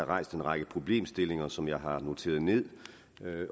rejst en række problemstillinger som jeg har noteret ned